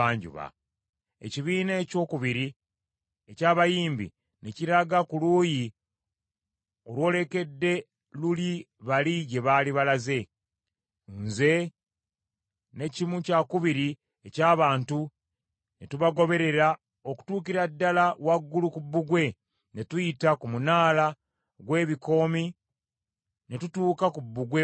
Ekibinja ekyokubiri eky’abayimbi, ne kiraga ku luuyi olwolekedde luli bali gye baali balaze. Nze ne kimu kyakubiri eky’abantu ne tubagoberera okutuukira ddala waggulu ku bbugwe, ne tuyita ku Munaala gw’Ebikoomi ne tutuuka ku Bbugwe Omugazi,